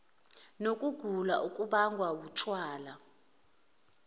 nokugula okubangwa wutshwala